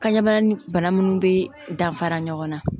Kan ɲɛbana ni bana minnu bɛ danfara ɲɔgɔnna